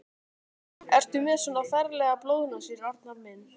Ertu með svona ferlegar blóðnasir, Arnar minn?